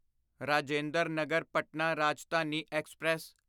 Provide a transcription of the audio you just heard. Rajinder Nagar Patna Rajdhani express